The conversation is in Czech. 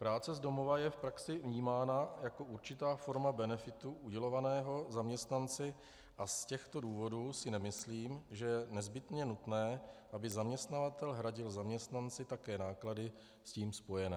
Práce z domova je v praxi vnímána jako určitá forma benefitu udělovaného zaměstnanci a z těchto důvodů si nemyslím, že je nezbytně nutné, aby zaměstnavatel hradil zaměstnanci také náklady s tím spojené.